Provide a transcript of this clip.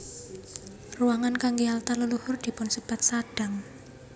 Ruangan kanggé altar leluhur dipunsebat sadang